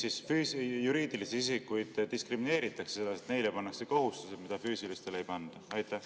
Miks juriidilisi isikuid diskrimineeritakse sedasi, et neile pannakse kohustusi, mida füüsilistele ei panda?